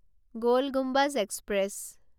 গল Gumbaz express